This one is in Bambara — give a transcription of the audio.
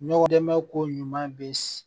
Ɲɔgɔn dɛmɛ ko ɲuman bɛ